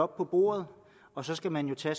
på bordet og så skal man tage